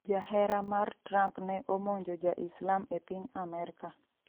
Jahera mar Trump ne omonjo ja Islam e piny Amerka